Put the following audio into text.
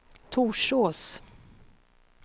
Torsås